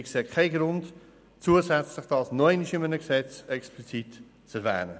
Wir sehen keinen Grund, es zusätzlich in einem weiteren Gesetz explizit zu erwähnen.